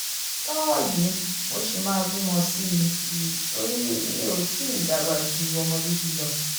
lọ́wọ́ yìí mo ṣì máa bímọ sí i i torí mi ò tí ì dàgbà ju ọmọ bíbí lọ